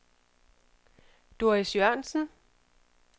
Doris Jørgensen